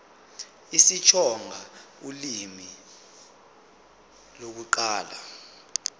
isitsonga ulimi lokuqala